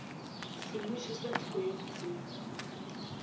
semmušo sa teko ya dipeu